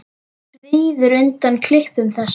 Svíður undan klipum þess.